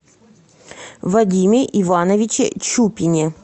вадиме ивановиче чупине